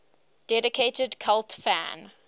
dedicated cult fan